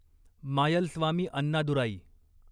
Mayilswamy Annadurai